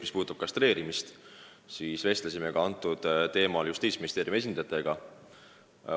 Mis puudutab kastreerimist, siis me vestlesime sel teemal ka Justiitsministeeriumi esindajatega.